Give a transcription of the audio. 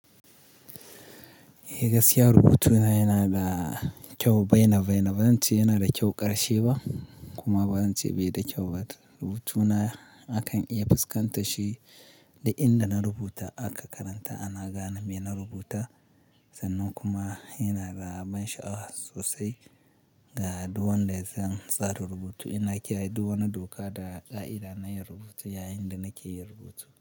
Eh gaskiya rubutuna yana da kyau, bai na bai na, ba zan ce yana da kyau ƙarshe ba kuma ba zan ce bai da kyau ba. Rubutuna akan iya fiskantar shi duk inda na rubuta aka karanta ana gane me na rubuta sannan kuma yana da ban sha'awa sosai ga duk wanda ya san tsarin rubutu. Ina kiyaye duk wani doka da ƙa'ida na yin rubutu yayin da nake yin rubutu.